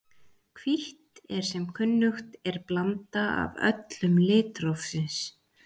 Hvítt er sem kunnugt er blanda af öllum litum litrófsins.